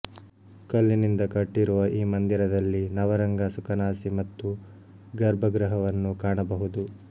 ಕಲ್ಲಿನಿಂದ ಕಟ್ಟಿರುವ ಈ ಮಂದಿರದಲ್ಲಿ ನವರಂಗ ಸುಕನಾಸಿ ಮತ್ತು ಗರ್ಭಗೃಹವನ್ನು ಕಾಣಬಹುದು